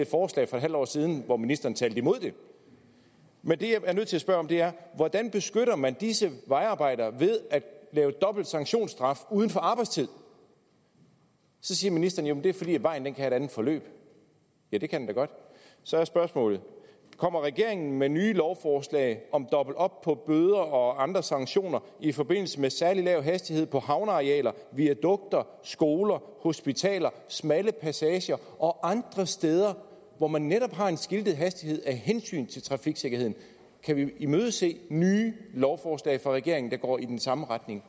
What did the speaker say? forslag for et halvt år siden hvor ministeren talte imod det men det jeg er nødt til at spørge om er hvordan beskytter man disse vejarbejdere ved at lave dobbelt sanktionsstraf uden for arbejdstid så siger ministeren at det er fordi vejen kan have et andet forløb ja det kan den da godt så er spørgsmålet kommer regeringen med nye lovforslag om dobbelt op på de bøder og andre sanktioner i forbindelse med særlig lav hastighed på havnearealer viadukter skoler hospitaler smalle passager og andre steder hvor man netop har en skiltet hastighed af hensyn til trafiksikkerheden kan vi imødese nye lovforslag fra regeringen der går i den samme retning